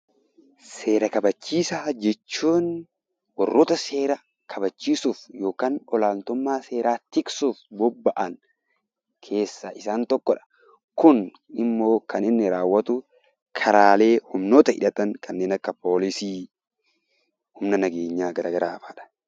Seera kabachiisaa jechuun warroota seera kabachiisuuf yookaan olaantummaa seeraa tiksuuf bobba'an keessaa isaan tokkodha. Kun immoo kan inni raawwatu karaa humnoota hidhatan kan akka poolisii, humna nageenyaa garaagaaradha.